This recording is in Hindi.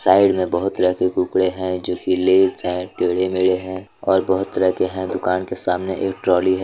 साइड मे बहुत तरह के कुरकुरे है जोकि लेज है टेडे मेडे है और बहुत तरह के है। दुकान के सामने एक ट्रॉली है।